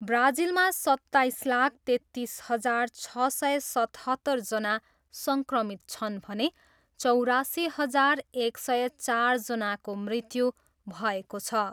ब्राजिलमा सत्ताइस लाख तेत्तिस हजार छ सय सतहत्तरजना सङ्क्रमित छन् भने चौरासी हजार एक सय चारजनाको मृत्यु भएको छ।